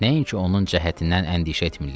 Nəinki onun cəhətindən əndişə etmirlər.